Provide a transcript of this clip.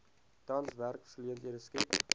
tans werksgeleenthede skep